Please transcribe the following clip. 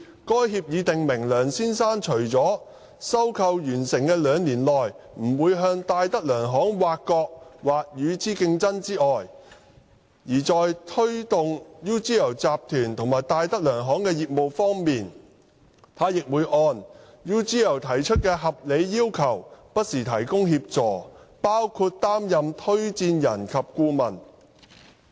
該協議訂明，梁先生除了在收購完成的兩年內不會向戴德梁行挖角或與之競爭之外，在推動 UGL 集團和戴德梁行集團的業務方面，他會按 UGL 提出的合理要求不時提供協助，包括擔任推薦人及顧問。